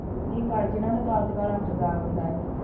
ਵੀ ਕਾਰਜ ਇਹਨਾਂ ਦਾ ਕਾਰਜਕਾਲ ਅੱਠ ਸਾਲ ਹੁੰਦਾ ਹੈ,